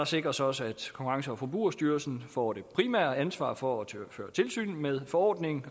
sikres også at konkurrence og forbrugerstyrelsen får det primære ansvar for at føre tilsyn med forordningen